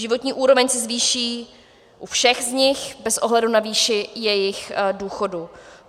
Životní úroveň se zvýší u všech z nich bez ohledu na výši jejich důchodu.